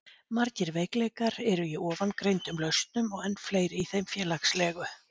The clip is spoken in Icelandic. margir veikleikar eru í ofangreindum lausnum og enn fleiri í þeim félagslegu